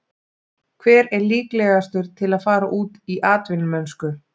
Hver er líklegastur til að fara út í atvinnumennsku?